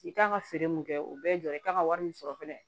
I kan ka feere mun kɛ o bɛɛ ye jɔyɔrɔ ye i kan ka wari min sɔrɔ fɛnɛ